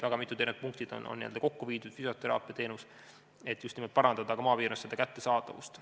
Väga mitmed erinevad punktid on kokku viidud, nt füsioteraapia teenus, et just nimelt parandada maapiirkondades abi kättesaadavust.